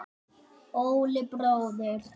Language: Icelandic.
Óli bróðir.